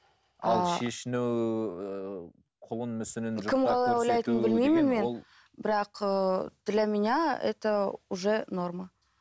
ал шешіну кім қалай ойлайтынын білмеймін мен бірақ ыыы для меня это уже норма